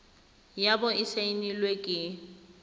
ya bo e saenilwe ke